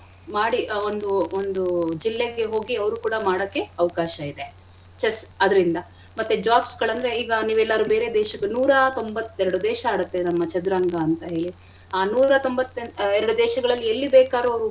ಮಾಡಿ ಒಂದು ಒಂದು ಜಿಲ್ಲೆಗೆ ಹೋಗಿ ಅವ್ರು ಕೂಡ ಮಾಡಕ್ಕೆ ಅವ್ಕಾಶ ಇದೆ. chess ಅದ್ರಿಂದ ಮತ್ತೆ jobs ಗಳಂದ್ರೆ ಈಗ ನೀವೆಲ್ಲಾರೂ ಬೇರೆ ದೇಶ ನೂರತೊಂಬತ್ತೆರಡ್ ದೇಶ ಆಡತ್ತೆ ನಮ್ಮ ಚದುರಂಗ ಅಂತ ಹೇಳಿ ಆ ನೂರತೊಂಬತ್ ಎರಡ್ ದೇಶಗಳಲ್ಲಿ ಎಲ್ಲಿ ಬೇಕಾರು ಅವ್ರು.